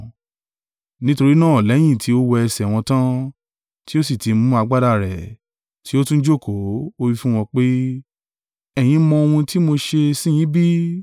Nítorí náà lẹ́yìn tí ó wẹ ẹsẹ̀ wọn tán, tí ó sì ti mú agbádá rẹ̀, tí ó tún jókòó, ó wí fún wọn pé, “Ẹ̀yin mọ ohun tí mo ṣe sí yín bí?